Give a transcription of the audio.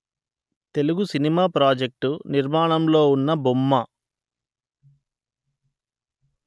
Telugu cinema project నిర్మాణంలో ఉన్న బొమ్మ